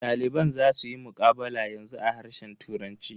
Daliban za suyi muqabala yanzu a harshen turanci.